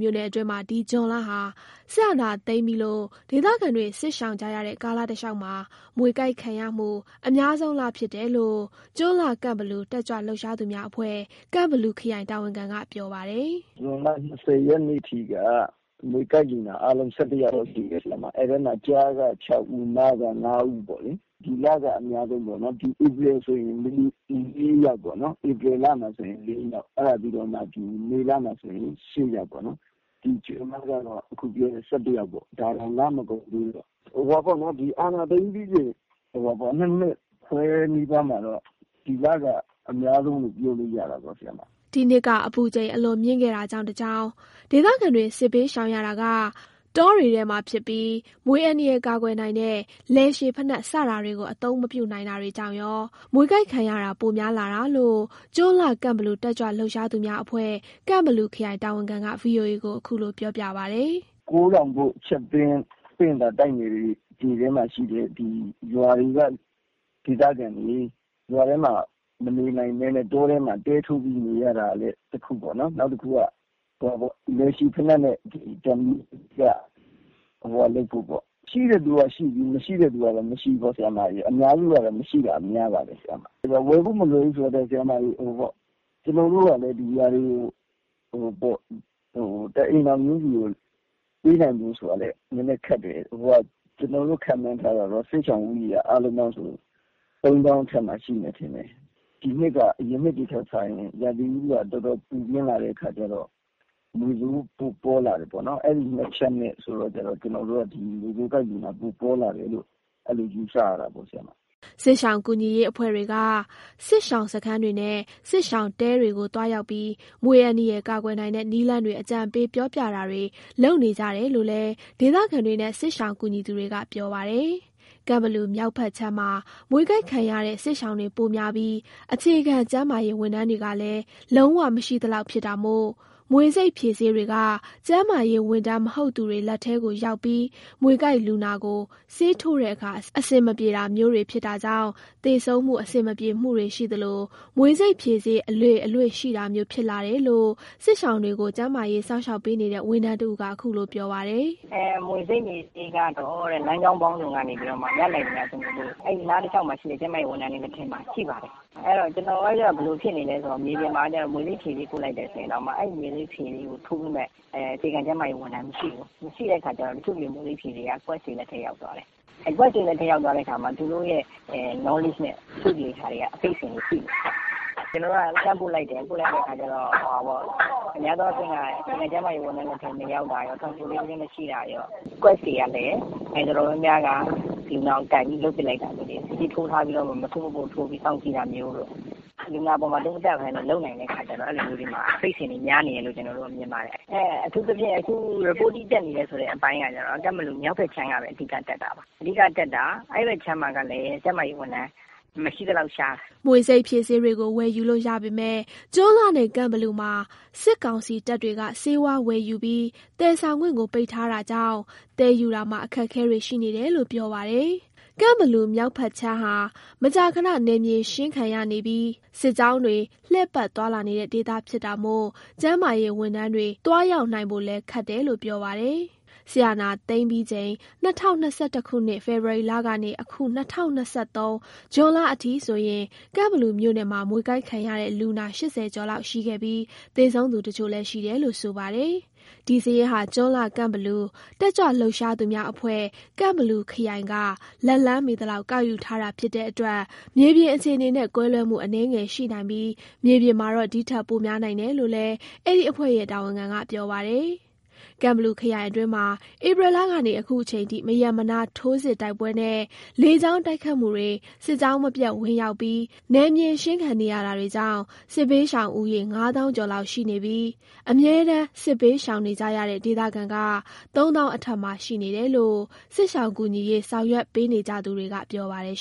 မြို့နယ်အတွင်းမှာ ဒီဇွန်လဟာ စစ်အာဏာသိမ်းပြီးလို့ ဒေသခံတွေ စစ်ရှောင်ကြရတဲ့ ကာလတစ်လျောက်မှာ မြွေကိုက်ခံရမှု အများဆုံး လဖြစ်တယ်လို့ ကျွန်းလှကန့်ဘလူ တက်ကြွလှုပ်ရှားသူများအဖွဲ့ ကန့်ဘလူခရိုင် တာဝန်ခံက ပြောပါတယ်။ “ဇွန်လ ၂၀ ရက်နေ့ထိက မြွေကိုက်လူနာ အားလုံး ၁၁ ယောက်ရှိတယ်ဗျ။ အဲ့ထဲမှာ ကျားက ၆ ဦး မက ၅ ဦးပေါ့လေ။ ဒီလက အများဆုံးပေါ့နော်၊ ဧပြီလမှာဆို ၄ ယောက်၊ မေလမှာဆိုရင် ၈ ယောက်ပေါ့နော်၊ ဒီဇွန်လမှာဆိုရင် အခုပြောတဲ့ ၁၁ ယောက်ပေါ့။ ဒါတောင် လမကုန်သေးဘူး။ အာဏာသိမ်းပြီးချိန် ၂ နှစ်ခွဲနီးပါးမှာတော့ ဒီလက အများဆုံးလို့ ပြောလို့ရတာပေါ့။” ဒီနှစ်က အပူချိန် အလွန်မြင့်ခဲ့တာကြောင့်တစ်ကြောင်း၊ ဒေသခံတွေ စစ်ဘေးရှောင်ရတာက တောတွေထဲမှာဖြစ်ပြီး မြွေအန္တာရာယ် ကာကွယ်နိုင်တဲ့ လည်ရှည်ဖိနပ် စတာတွေကို အသုံးမပြုနိုင်ကြတာကြောင့်ရော၊ မြွေကိုက်ခံရတာပိုများလာတာလို့ ကျွန်းလှ ကန့်ဘလူ တက်ကြွလှုပ်ရှားသူများအဖွဲ့ ကန့်ဘလူခရိုင် တာဝန်ခံက VOA ကို ခုလိုပြောပါတယ်။ “ကိုးထောင်ဘို့၊ ချပ်သင်း၊ ပင့်သာ တိုက်နယ်တွေမှာရှိတဲ့ ရွာတွေက ဒေသခံတွေ ရွာထဲမှာ မနေနိုင်ဘဲ တောထဲမှာ တဲထိုးပြီး နေရတာကလည်း တစ်ခုပေါ့နော်။ နောက်တစ်ခုက လည်ရှည်ဖိနပ်နဲ့ ဓာတ်မီးကလည်း ရှိတဲ့သူကလည်းရှိပြီး မရှိတဲ့သူကလည်း မရှိဘူးပေါ့၊ အများစုကတော့ မရှိတာများပါတယ်။ ဝယ်ဖို့ မလွယ်ဘူးဆိုတာထက် ကျွန်တော်တို့ကလည်း ဒီဟာတွေကို တစ်အိမ်ထောင်ချင်းစီကို ပေးဖို့ဆိုတာလည်း နည်းနည်းခက်တယ်။ ကျွန်တော်တို့ ခန့်မှန်းထားတာတော့ စစ်ရှောင်ဦးရေက အားလုံးပေါင်းဆို ၃၀,၀၀၀ အထက်မှာ ရှိမယ်ထင်တယ်။ ဒီနှစ်က အရင်နှစ်တွေထက်စာရင် ရာသီဥတုက တော်တော်ပူပြင်းလာတဲ့ခါကျတော့ မြွေဆိုး ပိုပေါလာတယ်ပေါ့နော်။ အဲ့ဒီ ၂ ချက်နဲ့ဆိုတော့ အဲ့လို မြွေပွေးကိုက်လူနာ ပိုပေါလာတယ်လို့ ယူဆရတာပေါ့။” စစ်ရှောင်ကူညီရေး အဖွဲ့တွေက စစ်ရှောင်စခန်းတွေနဲ့ စစ်ရှောင်တဲတွေကိုသွားရောက်ပြီး မြွေအန္တရာယ် ကာကွယ်နိုင်တဲ့ နည်းလမ်းတွေ အကြံပေးပြောပြတာတွေ လုပ်နေကြတယ်လို့လည်း ဒေသခံတွေနဲ့ စစ်ရှောင်ကူညီသူတွေကပြောပါတယ်။ ကန့်ဘလူမြောက်ဖက်ခြမ်းမှာ မြွေကိုက်ခံရတဲ့ စစ်ရှောင်တွေ ပိုများပြီး အခြေခံ ကျန်းမာရေးဝန်းထမ်းကလည်း လုံးဝ မရှိသလောက်ဖြစ်တာမို့ မြွေဆိပ်ဖြေဆေးတွေက ကျန်းမာရေးဝန်ထမ်းမဟုတ်သူတွေလက်ထဲကိုရောက်ပြီး မြွေကိုက်လူနာကို ဆေးထိုးတဲ့အခါ အဆင်မပြေတာမျိုးတွေ ဖြစ်တာကြောင့် သေဆုံးမှု၊ အဆင်မပြေမှုတွေရှိသလို မြွေဆိပ်ဖြေဆေး အလေအလွင့်ရှိတာမျိုး ဖြစ်လာတယ်လို့ စစ်ရှောင်တွေကို ကျန်းမာရေး စောင့်ရှောက်ပေးနေတဲ့ ဝန်ထမ်းတစ်ဦးက ခုလိုပြောပါတယ်။ “မြွေဆိပ်ဖြေဆေးကတော့ လမ်းကြောင်းပေါင်းစုံက ရနိုင်သမျှ ကျွန်တော်တို့ အဲ့နားတလျှောက်က ကျန်းမာရေး ဝန်ထမ်းတွေ လက်ထဲမှာ ရှိပါတယ်။ ကျွန်တော်တို့က ဘယ်လိုဖြစ်နေလဲဆိုတော့ မြေပြင်မှာက မြွေဆိပ်ဖြေဆေး ပို့လိုက်တယ်ဆိုရင်တောင်မှ အဲ့မြွေဆိပ်ဖြေဆေးကို ထိုးပေးမယ့် အခြေခံ ကျန်းမာရေးဝန်ထမ်းမရှိဘူး။ မရှိတဲ့ခါကျတော့ အဲ့မြွေဆိပ်ဖြေဆေးတွေက တခြားလူတွေ လက်ထဲရောက်သွားတယ်။ အဲ့တော့ သူတို့ရဲ့ Knowledge နဲ့လုပ်တဲ့ခါမှာ အဖိတ်အစင်တွေ ရှိတယ်။ ကျွန်တော်တို့က လှမ်းတော့ ပို့လိုက်တယ်၊ ပို့လိုက်တဲ့အခါမှာ အခြေခံကျန်းမာရေးဝန်ထမ်း မရှိတာရော၊ Transportation မရှိတာရော၊ ဒီမြွေဆိပ်ဖြေဆေး လက်ထဲရှိတဲ့သူတွေကလည်း မလျှော်ကန်တာ လုပ်ပစ်လိုက်တာမျိုးတွေ၊ မစို့မပို့ထိုးပြီး စောင့်ကြည့်တာမျိုးတို့ လူနာအပေါ်မှာ မသုံးသပ်နိုင်ဘဲ လုပ်တဲ့ခါကျတော့ အဲ့ဒီမှာ အဖိတ်အစင်တွေ များနေတယ်လို့ပဲ ကျွန်တော်ကတော့ မြင်ပါတယ်။ အခု Reporting တက်နေတဲ့ဟာတွေက ကန့်ဘလူမြောက်ဖက်ကခြမ်းကပဲ တက်တာပါ။ အဲ့ဖက်ခြမ်းမှာကလည်း ကျန်းမာရေးဝန်ထမ်းက မရှိသလောက်ရှားတယ်။” မြွေဆိပ်ဖြေဆေးတွေကို ဝယ်ယူလို့ရပေမယ့် ကျွန်းလှနဲ့ ကန့်ဘလူမှာ စစ်ကောင်စီတပ်တွေက ဆေးဝါးဝယ်ယူပြီး သယ်ဆောင်ခွင့်ကို ပိတ်ထားတာကြောင့် သယ်ယူတာမှာ အခက်အခဲတွေ ရှိနေတယ်လို့ ပြောပါတယ်။ ကန့်ဘလူမြောက်ခြမ်းဟာ မကြာခဏ နယ်မြေရှင်းခံနေရပြီး စစ်ကြောင်းတွေ လှည့်ပတ်သွားလာနေတဲ့ ဒေသဖြစ်တာမို့ ကျန်းမာရေးဝန်ထမ်းတွေ သွားရောက်နိုင်ဖို့လည်း ခက်တယ်လို့ ပြောပါတယ်။ စစ်အာဏာသိမ်းချိန် ၂၀၂၁ ဖေဖော်ဝါရီကနေ အခု ၂၀၂၃ ဇွန်လအထိ ကန့်ဘလူမြို့နယ်မှာ မြွေကိုက်ခံရတဲ့လူနာ ၈၀ ကျော်လောက်ရှိခဲ့ပြီး သေဆုံးသူတချို့လည်း ရှိတယ်လို့ ဆိုပါတယ်။ ဒီစာရင်းဟာ ကျွန်းလှ ကန့်ဘလူ တက်ကြွလှုပ်ရှားသူများအဖွဲ့(ကန့်ဘလူခရိုင်) က လက်လှမ်းမီသလောက် ကောက်ယူထားတာဖြစ်တဲ့အတွက် မြေပြင်အခြေအနေနဲ့ ကွဲလွဲမှု အနည်းငယ်ရှိနိုင်ပြီး မြေပြင်မှာတော့ ဒီထက် ပိုများနိုင်တယ်လို့လည်း အဲ့ဒီအဖွဲ့ရဲ့ တာဝန်ခံက ပြောပါတယ်။ ကန့်ဘလူခရိုင်အတွင်းမှာ ဧပြီလကနေ အခုအချိန်ထိ မရပ်မနား ထိုးစစ်၊ တိုက်ပွဲနဲ့ လေကြောင်းတိုက်ခိုက်မှုတွေ၊ စစ်ကြောင်းမပြတ်ဝင်ရောက်ပြီး နယ်မြေရှင်းခံနေရတာတွေကြောင့် စစ်ဘေးရှောင် ဦးရေ ၅၀,၀၀၀ ကျော်လောက်ရှိနေပြီး အမြဲတမ်း စစ်ဘေးရှောင်နေကြရတဲ့ ဒေသခံက ၃၀,၀၀၀ အထက်မှာ ရှိနေတယ်လို့ စစ်ရှောင်ကူညီရေး ဆောင်ရွက်ပေးနေကြသူတွေက ပြောပါတယ်